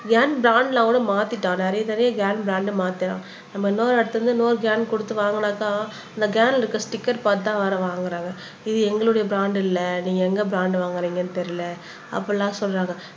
can brand எல்லாம் கூட மாத்திட்டோம் நிறைய நிறைய கேன் பிராண்ட் மாத்த நம்ம இன்னொரு இடத்திலிருந்து இன்னொரு கேன் கொடுத்து வாங்கினாக்கா அந்த கேன்ல இருக்குற ஸ்டிக்கர் பார்த்து தான் வேற வாங்குறாங்க இது எங்களுடைய பிராண்ட் இல்ல நீங்க எங்க பிராண்ட் வாங்குறீங்கன்னு தெரியல அப்படியெல்லாம் சொல்றாங்க